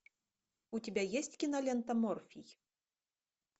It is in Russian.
у тебя есть кинолента морфий